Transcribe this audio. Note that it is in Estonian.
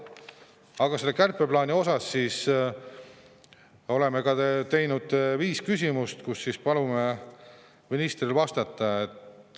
Aga selle kärpeplaani kohta oleme ka teinud viis küsimust, millele palume ministril vastata.